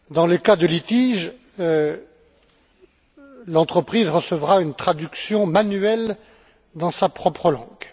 En cas de litige, l'entreprise recevra une traduction manuelle dans sa propre langue.